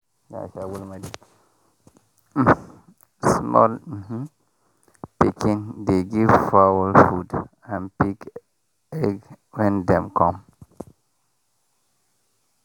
um small um pikin dey give fowl food and pick egg when dem come.